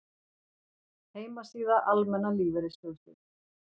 Heimasíða Almenna lífeyrissjóðsins